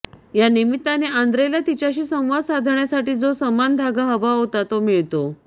या निमित्ताने आंद्रेला तिच्याशी संवाद साधण्यासाठी जो समान धागा हवा होता तो मिळतो